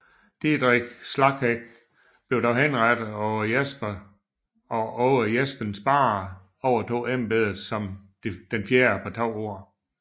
Didrik Slagheck blev dog henrettet og Aage Jepsen Sparre overtog embedet som den fjerde på to år